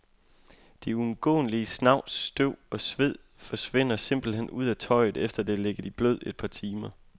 Det uundgåelige snavs, støv og sved forsvinder simpelthen ud af tøjet, efter det har ligget i blød i et par timer.